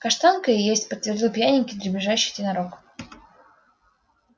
каштанка и есть подтвердил пьяненький дребезжащий тенорок